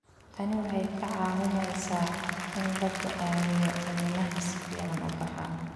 Tani waxay kaa caawinaysaa in la go'aamiyo iniinaha si fiican u baxa.